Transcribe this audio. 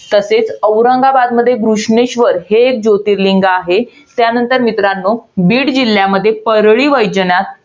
तसेच औरंगाबादमध्ये बुश्मेश्वर, हे एक जोतिर्लिंग आहे. त्यानंतर मित्रांनो, बीड जिल्ह्यामध्ये परळी वैजनाथ